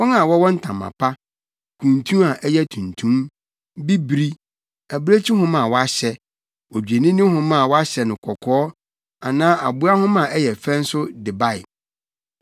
Wɔn a wɔwɔ ntama pa, kuntu a ɛyɛ tuntum, bibiri, abirekyi nwoma a wɔahyɛ, odwennini nwoma a wɔahyɛ no kɔkɔɔ anaa aboa nwoma a ɛyɛ fɛ nso de bae.